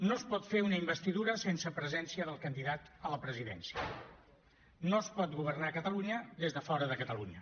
no es pot fer una investidura sense presència del candidat a la presidència no es pot governar catalunya des de fora de catalunya